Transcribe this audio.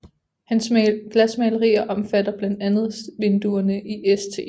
Hans glasmalerier omfatter blandt andet vinduerne i St